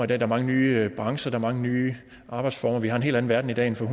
der er mange nye brancher der er mange nye arbejdsformer vi har en helt anden verden i dag end for